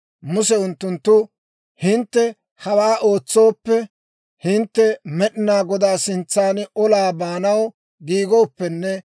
Muse unttunttu, «Hintte hawaa ootsooppe, hintte Med'inaa Godaa sintsan olaa baanaw giigooppenne